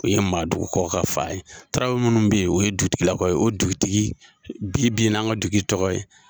O ye maadugukaw ka fan ye .Tarawele munnu be yen , o ye dugutigilakaw ye o dugutigi bi bi in na, an ka dugutigi tɔgɔ ye.